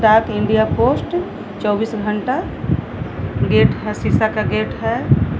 डाक India post चौबीस घंटा गेट है शीशा का गेट है।